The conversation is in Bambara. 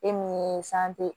E mun ye